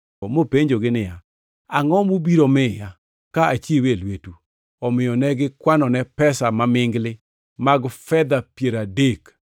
mopenjogi niya, “Angʼo mubiro miya ka achiwe e lwetu?” Omiyo ne gikwanone pesa mamingli mag fedha piero adek.